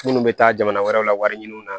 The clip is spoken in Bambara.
Minnu bɛ taa jamana wɛrɛw la wari ɲini na